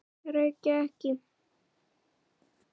Reykja ekki.